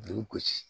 Du gosi